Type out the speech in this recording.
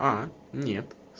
а нет